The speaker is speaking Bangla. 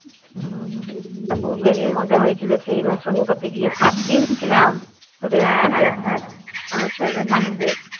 হম মজা হয়েছিলো সেই বার শনিপথে গিয়ে সাতদিন ছিলাম তোদের সাথে হম